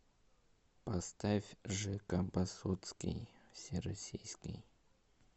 поставь жека басотский всероссийский